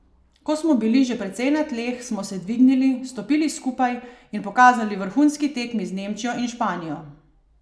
Ko smo bili že precej na tleh, smo se dvignili, stopili skupaj in pokazali vrhunski tekmi z Nemčijo in Španijo.